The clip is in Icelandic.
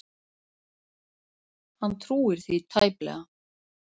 Hann trúir því tæplega.